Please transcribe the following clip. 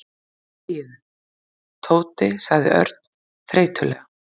Þegiðu, Tóti sagði Örn þreytulega.